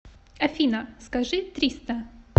афина скажи триста